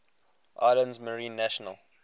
islands marine national